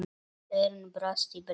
Örn brosti breitt.